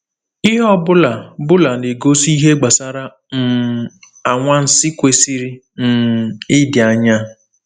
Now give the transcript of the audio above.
Ihe ọ bụla bụla na-egosi ihe gbasara um anwansi kwesịrị um ịdị anya.